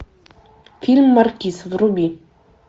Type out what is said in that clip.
фильм маркиз вруби